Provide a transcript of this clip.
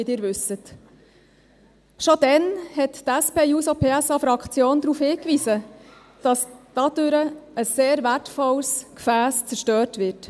Schon damals hat die SP-JUSO-PSA-Fraktion darauf hingewiesen, dass dadurch ein sehr wertvolles Gefäss zerstört wird.